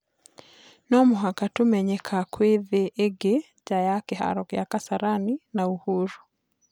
" Nomũhaka tũmenyeka kwĩna thĩ ĩngĩ nja ya kĩharo gĩa Kasarani na Uhuru.